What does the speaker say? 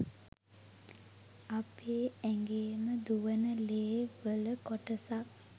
අපේ ඇගේම දුවන ලේ වල කොටසක්